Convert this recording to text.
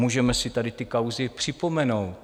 Můžeme si tady ty kauzy připomenout.